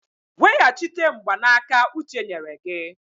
Weghachite mgbanaka uche nyere gị!